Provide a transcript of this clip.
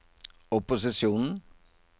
opposisjonen